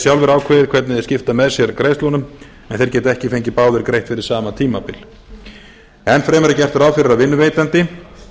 sjálfir ákveðið hvernig þeir skipta með sér greiðslunum en þeir geta ekki fengið báðir greitt fyrir sama tímabil enn fremur er gert ráð fyrir að vinnuveitandi